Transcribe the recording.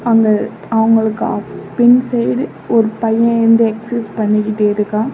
அவங்க அவங்களுக்கு பின் சைடு ஒரு பையன் வந்து எக்சைஸ் பண்ணிக்கிட்டிருக்கான்.